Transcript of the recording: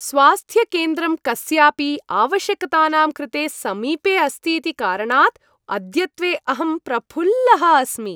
स्वास्थ्यकेन्द्रं कस्यापि आवश्यकतानां कृते समीपे अस्ति इति कारणात् अद्यत्वे अहं प्रफुल्लः अस्मि।